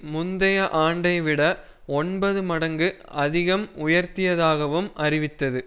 முந்தைய ஆண்டை விட ஒன்பது மடங்கு அதிகம் உயர்த்தியதாகவும் அறிவித்தது